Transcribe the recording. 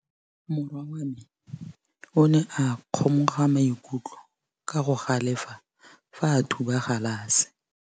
Morwa wa me o ne a kgomoga maikutlo ka go galefa fa a thuba galase.